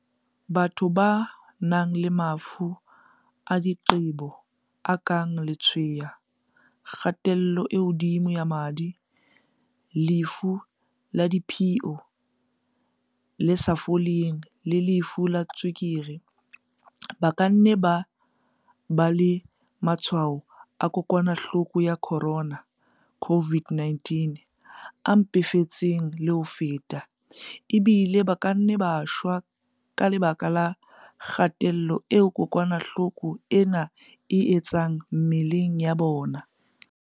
Batho ba nang le mafu a diqebo a kang letshweya, kgatello e hodimo ya madi, lefu la diphio le sa foleng le lefu la tswe-kere, ba ka nna ba ba le matshwao a kokwana-hloko ya corona, CO-VID-19, a mpefetseng le ho feta, ebile ba ka nna ba shwa ka lebaka la kga-tello eo kokwanahloko ena e e etsang mebeleng ya bona.